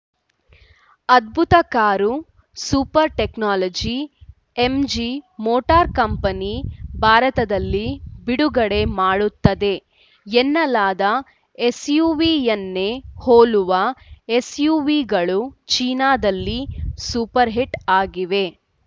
ಅದ್ಭುತ car super technology MG motor company ಭಾರತದಲ್ಲಿ ಬಿಡುಗಡೆ ಮಾಡುತ್ತದೆ ಎನ್ನಲಾದ ಎಸ್‌ಯುವಿಯನ್ನೇ ಹೋಲುವ ಎಸ್‌ಯುವಿಗಳು ಚೀನಾದಲ್ಲಿ ಸೂಪರ್‌ಹಿಟ್‌ ಆಗಿವೆ